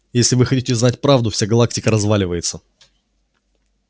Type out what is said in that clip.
если вы хотите знать правду вся галактика разваливается